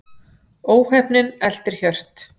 Óheppnin eltir Hjört